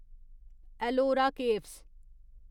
Ellora caves